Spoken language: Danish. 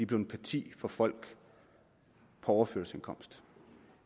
blevet partier for folk på overførselsindkomst